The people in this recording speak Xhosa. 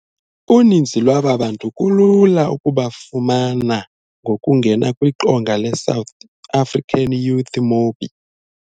Uninzi lwaba bantu kulula ukubafumana ngokungena kwiqonga le-SouthAfricanYouth.mobi.